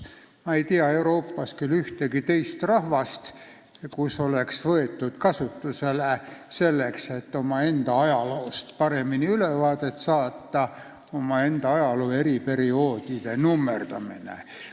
Ma ei tea Euroopas ühtegi teist rahvast, kes oleks võtnud selleks, et omaenda ajaloost paremini ülevaadet saada, kasutusele ajaloo eri perioodide nummerdamise.